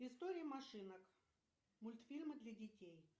истории машинок мультфильмы для детей